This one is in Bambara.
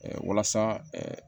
walasa